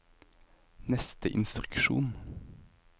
neste instruksjon